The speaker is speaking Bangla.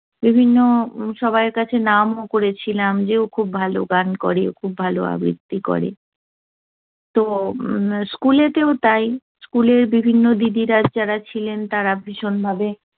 বিভিন্ন সবাই এর কাছে নামও করেছিলাম যে ও খুব ভালো গান করে। ও খুব ভালো আবৃত্তি করে। তো উম school এতেও তাই। school এর বিভিন্ন দিদিরা, যারা ছিলেন, তারা ভীষণভাবে